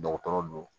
Dɔgɔtɔrɔ do